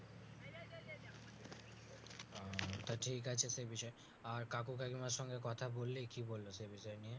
তা ঠিক আছে সেই বিষয় আর কাকু কাকিমার সঙ্গে কথা বল্লি কি বললো সেই বিষয় নিয়ে